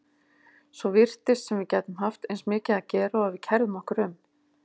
Svo virtist sem við gætum haft eins mikið að gera og við kærðum okkur um.